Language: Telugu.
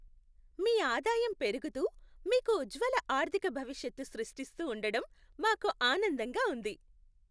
మీ ఆదాయం పెరుగుతూ, మీకు ఉజ్జ్వల ఆర్థిక భవిష్యత్తు సృష్టిస్తూ ఉండడం మాకు ఆనందంగా ఉంది!